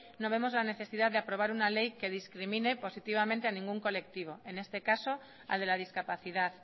no vemos la necesidad de aprobar una ley que discrimine positivamente a ningún colectivo en este caso al de la discapacidad